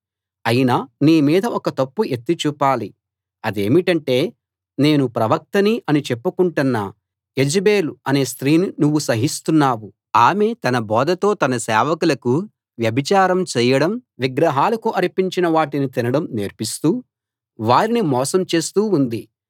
అయినా నీ మీద ఒక తప్పు ఎత్తి చూపాలి అదేమిటంటే నేను ప్రవక్తని అని చెప్పుకుంటున్న యెజెబెల్ అనే స్త్రీని నువ్వు సహిస్తున్నావు ఆమె తన బోధతో నా సేవకులకు వ్యభిచారం చేయడం విగ్రహాలకు అర్పించిన వాటిని తినడం నేర్పిస్తూ వారిని మోసం చేస్తూ ఉంది